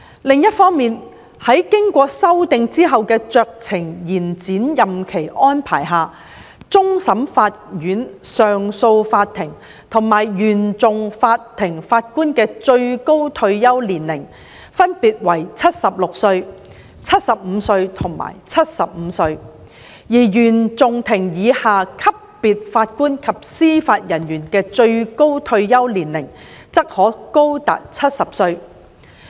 另一方面，在經修訂後的酌情延展任期安排下，終審法院、上訴法庭及原訟法庭法官的最高退休年齡分別為76歲、75歲及75歲，而原訟法庭以下級別法官及司法人員的最高退休年齡則可高達70歲。